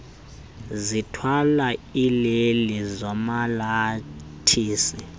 zithwale iileli zomalathisi